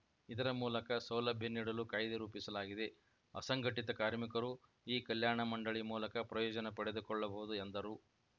ಇದರ ಮೂಲಕ ಸೌಲಭ್ಯ ನೀಡಲು ಕಾಯ್ದೆ ರೂಪಿಸಲಾಗಿದೆ ಅಸಂಘಟಿತ ಕಾರ್ಮಿಕರು ಈ ಕಲ್ಯಾಣ ಮಂಡಳಿ ಮೂಲಕ ಪ್ರಯೋಜನ ಪಡೆದುಕೊಳ್ಳಬಹುದು ಎಂದರು